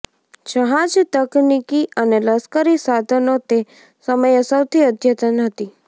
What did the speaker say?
જહાજ તકનિકી અને લશ્કરી સાધનો તે સમયે સૌથી અદ્યતન હતી